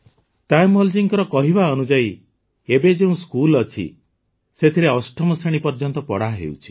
ତାୟମ୍ମଲଜୀଙ୍କ କହିବା ଅନୁଯାୟୀ ଏବେ ଯେଉଁ ସ୍କୁଲ ଅଛି ସେଥିରେ ଅଷ୍ଟମ ଶ୍ରେଣୀ ପର୍ଯ୍ୟନ୍ତ ପଢ଼ା ହେଉଛି